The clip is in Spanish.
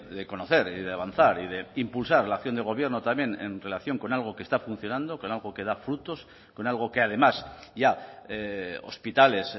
de conocer y de avanzar y de impulsar la acción del gobierno también en relación con algo que está funcionando con algo que da frutos con algo que además ya hospitales